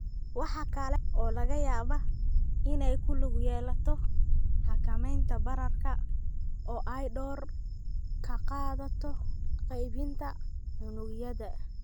Waxa kale oo laga yaabaa inay ku lug yeelato xakamaynta bararka oo ay door ka qaadato qaybinta unugyada.